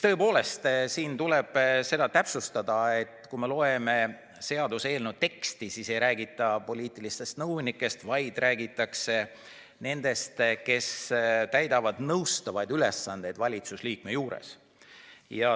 Tõepoolest, siin tuleb täpsustada, et kui me loeme seaduseelnõu teksti, siis selles ei räägita poliitilistest nõunikest, vaid räägitakse nendest, kes täidavad valitsuse liikme juures nõustavaid ülesandeid.